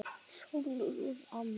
Sólrún Anna.